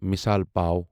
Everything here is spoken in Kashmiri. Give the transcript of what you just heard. مثِال پاو